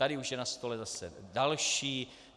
Tady už je na stole zase další.